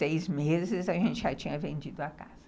Seis meses a gente já tinha vendido a casa.